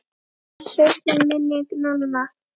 Blessuð sé minning Nonna.